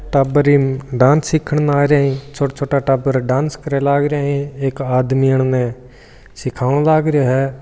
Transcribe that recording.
टाबर ईम डांस सीखने आरा है छोटा छोटा डाबर डांस करे लागरा है एक आदमी इनने सिखाओन लाग रो है।